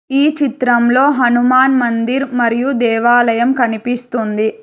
ఈ చిత్రంలో హనుమాన్ మందిర్ మరియు దేవాలయం కనిపిస్తుంది.